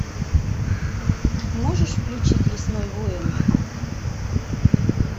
можешь включить лесной воин